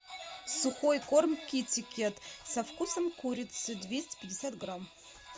сухой корм китикет со вкусом курицы двести пятьдесят грамм